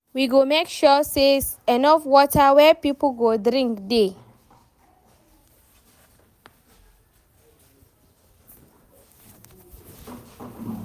We go make sure sey enough water wey pipo go drink dey.